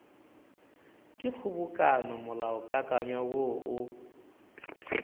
ke kgobokano molaokakanywa woo o